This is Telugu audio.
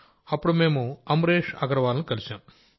అప్పుడు మేం అమ్రేష్ అగర్వాల్ గారిని కలిశాం